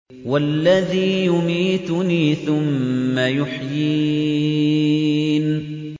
وَالَّذِي يُمِيتُنِي ثُمَّ يُحْيِينِ